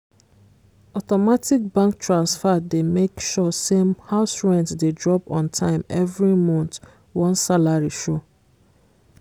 automatic bank transfer dey make sure say house rent dey drop ontime every month once salary show